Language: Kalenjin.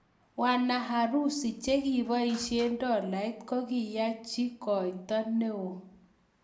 Wanaharusi che ki poishee dolaiyat ko kikiachi koitoo nee oo